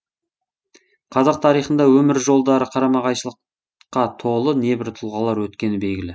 қазақ тарихында өмір жолдары қарама қайшылыққа толы небір тұлғалар өткені белгілі